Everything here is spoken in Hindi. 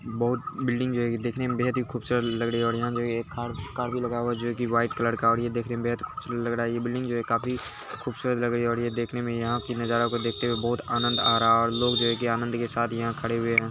बहुत बिल्डिंग है। देखने बेहत खूबसूरत लग रही है। यहां ये कार कार भी लगा हुआ है जो के व्हाइट कलर का और ये देखने में बेहत खूबसूरत लग रहा है। ये बिल्डिंग जो है काफी खूबसूरत लग रही है। ये देखने यहां के नजारे को देखते हुए बहुत आनंद आ रहा है। लोग जो है की बहुत ही आनंद के साथ खड़े हुए हैं।